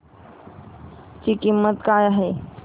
ची किंमत काय आहे